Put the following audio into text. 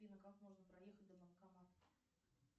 афина как можно проехать до банкомата